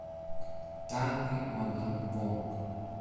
тайны мадам вонг